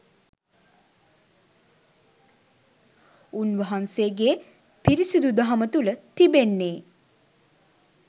උන්වහන්සේගේ පිරිසිදු දහම තුළ තිබෙන්නේ